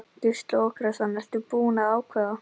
Gísli Óskarsson: Ertu búin að ákveða?